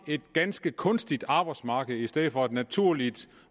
et ganske kunstigt arbejdsmarked i stedet for et naturligt